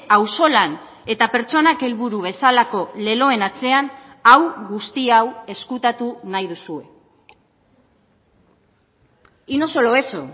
auzolan eta pertsonak helburu bezalako leloen atzean hau guzti hau ezkutatu nahi duzue y no solo eso